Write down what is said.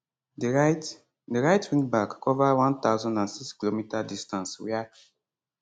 di right di right wingback cover 1006km distance wia